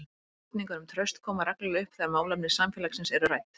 Spurningar um traust koma reglulega upp þegar málefni samfélagsins eru rædd.